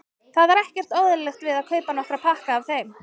Það var ekkert óeðlilegt við að kaupa nokkra pakka af þeim.